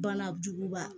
Banajuguba